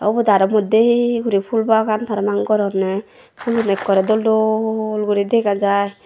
ubot aro moddey guri phool bagan parapang goronney phulun ekkorey dol dol guri dega jai.